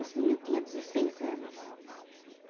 Esse menino tinha dezesseis anos.